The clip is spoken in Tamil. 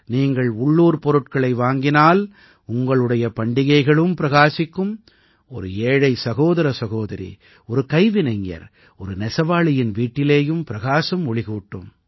நீங்கள் உள்ளூர் பொருட்களை வாங்கினால் உங்களுடைய பண்டிகைகளும் பிரகாசிக்கும் ஒரு ஏழை சகோதர சகோதரி ஒரு கைவினைஞர் ஒரு நெசவாளியின் வீட்டிலேயும் பிரகாசம் ஒளிகூட்டும்